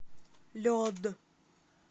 лед